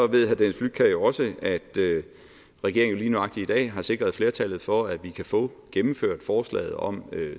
ved herre dennis flydtkjær jo også at regeringen lige nøjagtig i dag har sikret flertallet for at vi kan få gennemført forslaget om